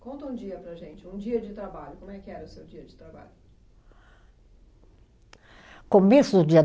Conta um dia para a gente, um dia de trabalho. Como é que era o seu dia de trabalho? Começo do dia